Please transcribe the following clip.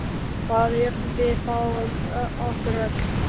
Hvað yrði þá um okkur öll?